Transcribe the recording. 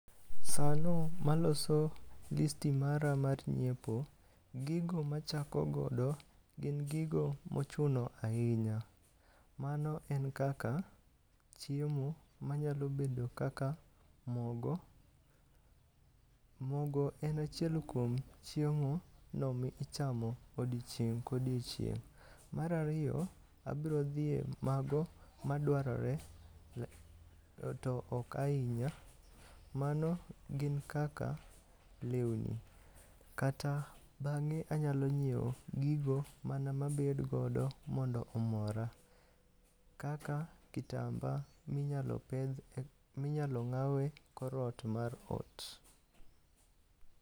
Sano maloso listi mara mar nyiepo, gigo ma achako godo gin gigo mochuno ahinya. Mano en kaka chiemo manyalo bedo kaka mogo. mogo en achiel kuom chiemo michamo odiech ka odiechieng'. Mar ariyo abiro dhi e mago madwarore to ok ahinya. Mano gin kaka lewni kata beng'e anyalo nyiewo gigo mana ma abedo godo mondo omora, kaka kitamba ma inyalo pedh, minyalo ng'aw ekor ot mar ot.